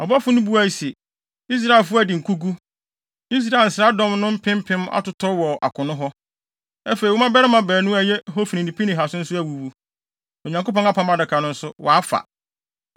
Ɔbɔfo no buae se, “Israelfo adi nkogu. Israel nsraadɔm no mpem mpem atotɔ wɔ akono hɔ. Afei, wo mmabarima baanu a ɛyɛ Hofni ne Pinehas no nso awuwu, na Onyankopɔn Apam Adaka no nso, wɔafa.”